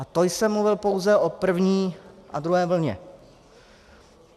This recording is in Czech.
A to jsem mluvil pouze o první a druhé vlně.